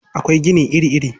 Akwai gini iri-iri.